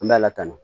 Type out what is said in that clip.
An bɛ ala tanu